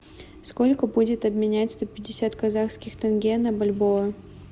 сколько будет обменять сто пятьдесят казахских тенге на бальбоа